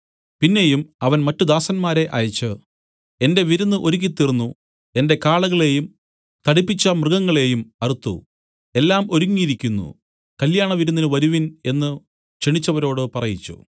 പിന്നെയും അവൻ മറ്റു ദാസന്മാരെ അയച്ചു എന്റെ വിരുന്ന് ഒരുക്കിത്തീർന്നു എന്റെ കാളകളെയും തടിപ്പിച്ച മൃഗങ്ങളെയും അറുത്തു എല്ലാം ഒരുങ്ങിയിരിക്കുന്നു കല്യാണവിരുന്നിന് വരുവിൻ എന്നു ക്ഷണിച്ചവരോട് പറയിച്ചു